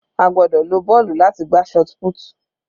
A gbọ́dọ̀ lo bọ́ọ̀lù láti gbá shotput.